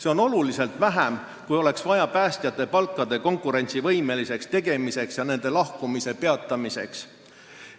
See on oluliselt vähem, kui oleks vaja päästjate palkade konkurentsivõimeliseks tegemiseks ja nende lahkumise peatamiseks.